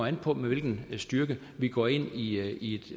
an på med hvilken styrke vi går ind i i